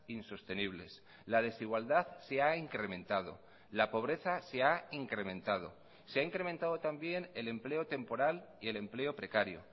insostenibles la desigualdad se ha incrementado la pobreza se ha incrementado se ha incrementado también el empleo temporal y el empleo precario